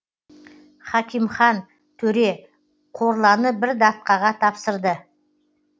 хакимхан төре корланы бір датқаға тапсырды